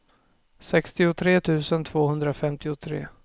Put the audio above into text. sextiotre tusen tvåhundrafemtiotre